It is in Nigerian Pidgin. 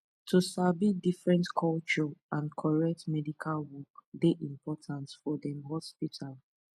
to sabi different culture and correct medical work dey important for dem hospital